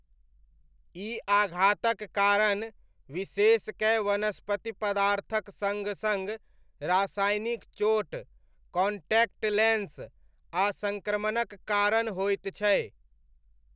ई आघातक कारण, विशेषकए वनस्पति पदार्थक सङ सङ रासायनिक चोट, कॉण्टैक्ट लेन्स, आ सङ्क्रमणक कारण होइत छै।